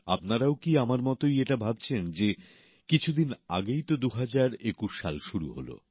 আপনারাও কি আমার মতই এটা ভাবছেন যে কিছু দিন আগেই তো ২০২১ সাল শুরু হল